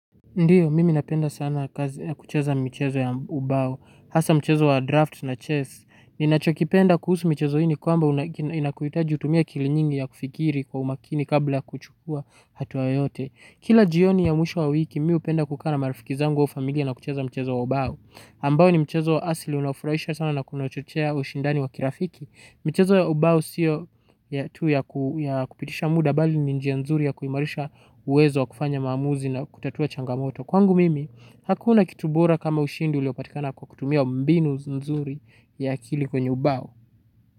Ndiyo, mimi napenda sana kazi na kucheza mchezo ya ubao, hasa mchezo wa draft na chess, ninachokipenda kuhusu michezo hii ni kwamba unakuhitaji utumie akili nyingi ya kufikiri kwa umakini kabla kuchukua hatua yote. Kila jioni ya mwisho wa wiki mimi hupenda kukaa na marafiki zangu au familia na kucheza mchezo wa ubao, ambao ni mchezo wa asili unafurahisha sana na kunachochea ushindani wa kirafiki. Michezo ya ubao siyo tu ya kupitisha muda bali ni njia nzuri ya kuimarisha uwezo wa kufanya maamuzi na kutatua changamoto. Kwangu mimi, hakuna kitu bora kama ushindi uliopatikana kwa kutumia mbinu nzuri ya akili kwenye ubao.